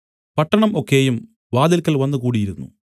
പട്ടണം ഒക്കെയും വാതിൽക്കൽ വന്നു കൂടിയിരുന്നു